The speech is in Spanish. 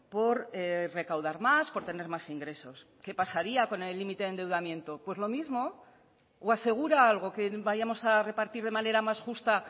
por recaudar más por tener más ingresos qué pasaría con el límite de endeudamiento pues lo mismo o asegura algo que vayamos a repartir de manera más justa